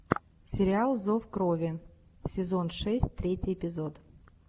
сериал зов крови сезон шесть третий эпизод